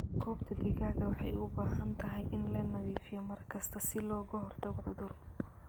Goobta digaaga waxay u baahan tahay in la nadiifiyo mar kasta si looga hortago cudur.